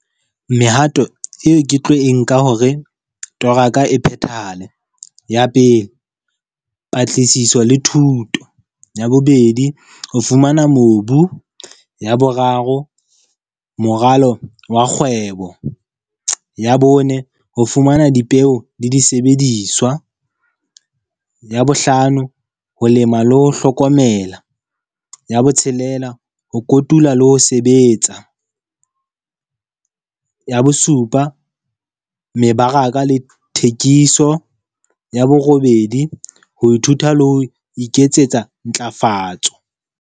Mehato eo ke tlo e nka hore toro ya ka e phethahale. Ya pele, patlisiso le thuto. Ya bobedi, o fumana mobu. Ya boraro, moralo wa kgwebo. Ya bone, ho fumana dipeo le disebediswa. Ya bohlano, ho lema le ho hlokomela. Ya botshelela, ho kotula le ho sebetsa. Ya bosupa, mebaraka le thekiso. Ya borobedi, ho ithuta le ho iketsetsa ntlafatso.